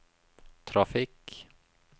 trafikk